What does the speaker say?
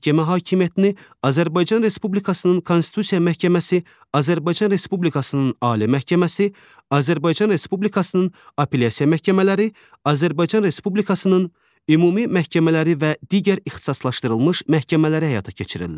Məhkəmə hakimiyyətini Azərbaycan Respublikasının Konstitusiya Məhkəməsi, Azərbaycan Respublikasının Ali Məhkəməsi, Azərbaycan Respublikasının Apellyasiya məhkəmələri, Azərbaycan Respublikasının ümumi məhkəmələri və digər ixtisaslaşdırılmış məhkəmələr həyata keçirirlər.